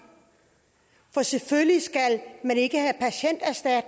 for selvfølgelig skal man ikke henne i